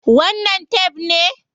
Wannan tef ne?